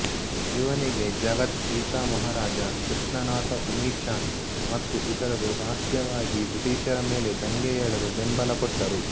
ಇವನಿಗೆ ಜಗತ್ ಸೀತಾಮಹಾರಾಜ ಕೃಷ್ಣನಾಥಉಮಿಚಾಂದ್ ಮತ್ತು ಇತರರು ರಹಸ್ಯವಾಗಿ ಬ್ರಿಟೀಷರ ಮೇಲೆ ದಂಗೆಯೆಳಲು ಬೆಂಬಲ ಕೊಟ್ಟರು